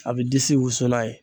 A bɛ disi wusula ye.